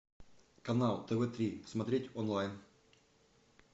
канал тв три смотреть онлайн